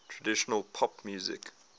traditional pop music